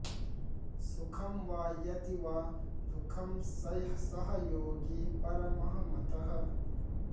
सुखम् वा यदि वा दुःखम् सः योगी परमः मतः